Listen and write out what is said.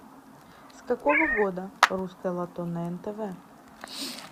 с какого года русское лото на нтв